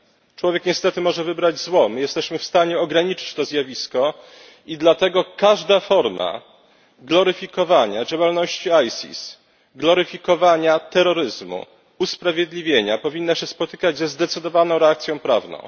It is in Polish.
Człowiek niestety może wybrać zło. My jesteśmy w stanie ograniczyć to zjawisko i dlatego każda forma gloryfikowania działalności ISIS, gloryfikowania terroryzmu, usprawiedliwienia powinna się spotykać ze zdecydowaną reakcją prawną.